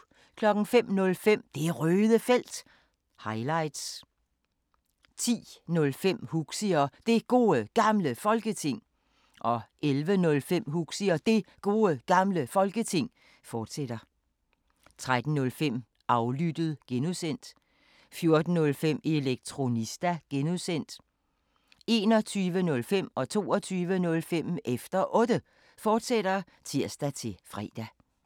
05:05: Det Røde Felt – highlights 10:05: Huxi og Det Gode Gamle Folketing 11:05: Huxi og Det Gode Gamle Folketing, fortsat 13:05: Aflyttet (G) 14:05: Elektronista (G) 21:05: Efter Otte, fortsat (tir-fre) 22:05: Efter Otte, fortsat (tir-fre)